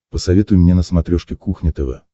посоветуй мне на смотрешке кухня тв